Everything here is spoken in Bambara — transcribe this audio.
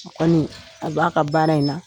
Kɔni a b'a ka baara in na.